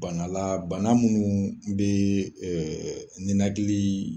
Bana la bana munnu be ɛɛ ninakili